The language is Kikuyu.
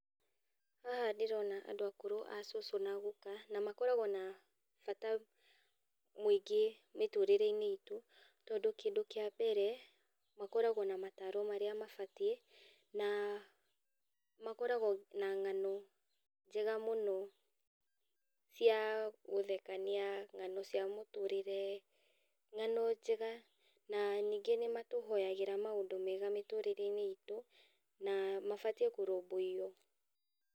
Haha ndĩrona andũ akũrũ acucu na aguka na makoragwo na bata mũingĩ mĩtũrĩre-inĩ itũ, tondũ kĩndũ kĩa mbere makoragwo na mataro marĩa mabatiĩ, na makoragwo na ng'ano njega mũno cia gũthekania, ng'ano cia mũtũrĩre, ng'ano njega. Na ningĩ nĩmatuhoyagĩra maũndũ mega mĩtũrĩre-inĩ itũ, na mabatiĩ kũrũmbũyio.